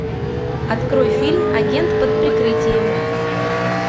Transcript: открой фильм агент под прикрытием